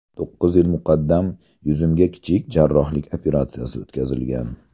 To‘qqiz yil muqaddam yuzimda kichik jarrohlik operatsiyasi o‘tkazilgan.